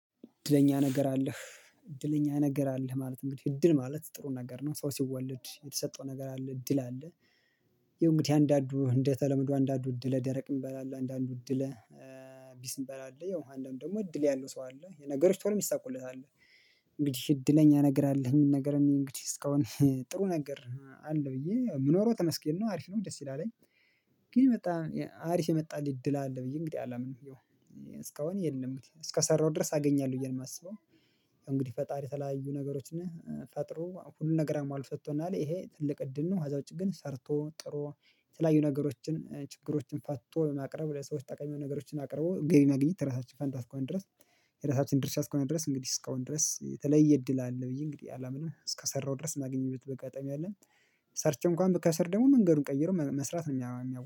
እድለኛ ነገር አለህ እድለኛ ነገር አለህ ማለት እንግዲህ እድል ማለት ጥሩን ነገር ነው ሰው ሲወለድ የተሰጠው ነገር አለ እድል አለ። ያው እንግዲህ አንዳንዱ እንደተለመደው አንዳንዱ እድለ ደረቅ ሚባል አለ አንዳንዱ እድለ ቢስ ሚባል አለ የመሃል ደግሞ እድል ያለው ሰው አለ የነገሮች ቶሎ ይሳኩለታል። እንግዲህ እድለኛ ነገር አለህ ሚል ነገር እኔ እንግዲህ እስካሁን ጥሩ ነገር አለ ብዬ የምኖረው ተመስገን ነው አሪፍ ነው ደስ ይላልኝ። ግን የመጣ አሪስ የመጣልኝ እድል አለ ብዬ እንግዲህ አላምንም። እስካሁን የለም እስከሰራሁት ድረስ አገኛለሁ እያልሁ ነው የማስበው። እንግዲህ ፈጣሪ የተለያዩ ነገሮች ነህ ፈጥሮ ሁሉን ነገር አሟልቶ ሰጥቶናል ይሄ ትልቅ እድል ነው። አዛ ውጪ ግን ሰርቶ ጥሮ የተለያዩ ነገሮችን ችግሮችን ፈቶ ማቅረብ ለሰዎች ጠቃሚ ነገሮችን አቅርቦ ገቢ ማኘት የራሳችን ፋንታ እስከሆነ ድረስ። የራሳችን ድርሻ እስከሆነ ድረስ እንግዲህ እስከአሁን ድረስ የተለየ እድል አለ ብዬ እንግዲህ አላምንም እስከሰራው ድረስ ማገኝበትም አጋጣሚ አለ። ሰርች እንኳን ብከሰር ደግሞ መንገዱን ቀይሮ መስራት ነው የሚያው